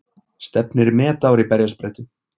Stefnir í metár í berjasprettu